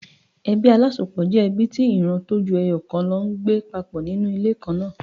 Ebí alásopọ̀ jẹ́ ẹbí tí ìran tó ju ẹyọ̀ kan lọ ń gbé papọ̀ ní inú ilé kan náà.